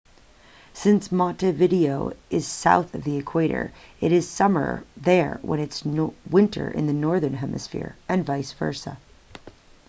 since montevideo is south of the equator it is summer there when it's winter in the northern hemisphere and vice versa